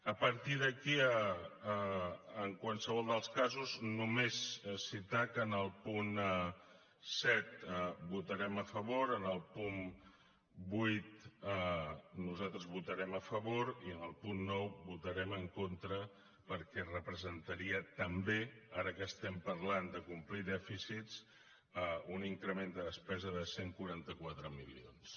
a partir d’aquí en qualsevol dels casos només citar que en el punt set votarem a favor en el punt vuit nosaltres votarem a favor i en el punt nou votarem en contra perquè representaria també ara que estem parlant de complir dèficits un increment de despesa de cent i quaranta quatre milions